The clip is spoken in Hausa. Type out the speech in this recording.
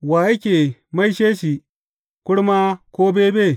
Wa yake maishe shi kurma ko bebe?